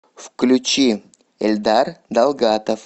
включи эльдар далгатов